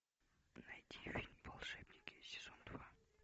найди фильм волшебники сезон два